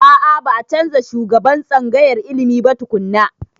A a.ba a canza shugaban tsangayar ilimin ba tukunna.